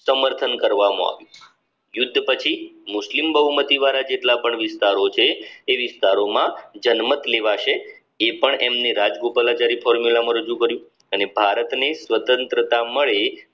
સમર્થન કરવામાં આવી યુદ્ધ પછી મુસ્લિમ બહુમતી દ્વારા જેટલા પણ વિસ્તારો છે એ વિસ્તારોમાં જન્મત નિવાસે એ પણ એમની રાજગોપાલ જરી ફોર્મ્યુલામાં રજૂ કર્યું અને ભારતની સ્વતંત્રતા મળી